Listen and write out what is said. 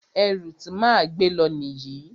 Ẹrù ti máa gbé lọ nìyí.